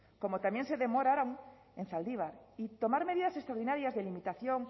como también se demoraron en zaldibar y tomar medidas extraordinarias de limitación